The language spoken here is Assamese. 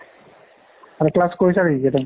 class কৰিছা নেকি ?